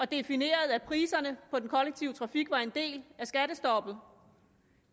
definerede at priserne på den kollektive trafik var en del af skattestoppet